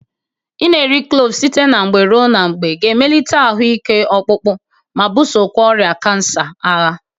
Ị na-eri kloovu site na mgbe ruo na mgbe ga-emelite ahụ ike ọkpụkpọ, ma bụsokwa ọrịa kansa agha.